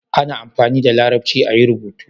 ana amfani da larabci a yi rubutu